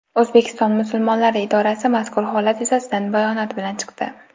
O‘zbekiston musulmonlari idorasi mazkur holat yuzasidan bayonot bilan chiqdi.